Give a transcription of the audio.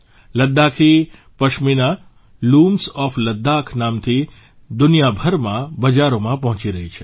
Ladakhi pashmina looms of Ladakh નામથી દુનિયાભરના બજારોમાં પહોંચી રહી છે